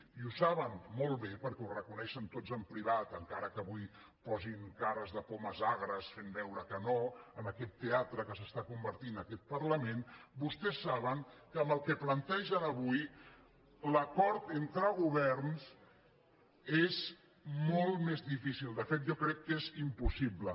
i ho saben molt bé perquè ho reconeixen tots en privat encara que avui posin cares de pomes agres fent veure que no en aquest teatre en què es converteix aquest parlament vostès saben que amb el que plantegen avui l’acord entre governs és molt més difícil de fet jo crec que és impossible